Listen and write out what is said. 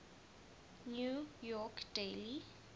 new york daily